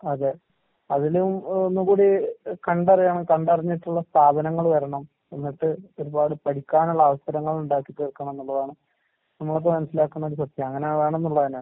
അതെ, അതിലും ഒന്നും കൂടി എഹ് കണ്ടറിയണം, കണ്ടറിഞ്ഞിട്ടുള്ള സ്ഥാപനങ്ങള് വരണം. വന്നിട്ട് ഒരുപാട് പഠിക്കാനുള്ള അവസരങ്ങളുണ്ടാക്കിത്തീർക്കണംന്നുള്ളതാണ് നമ്മളിപ്പ മനസ്സിലാക്കുന്നൊരു സത്യം, അങ്ങനെ വേണംന്നുള്ളത് തന്നെ.